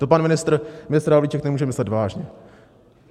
To pan ministr Havlíček nemůže myslet vážně.